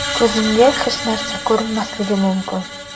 Ko‘zimga hech narsa ko‘rinmasligi mumkin.